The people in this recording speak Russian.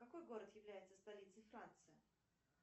какой город является столицей франции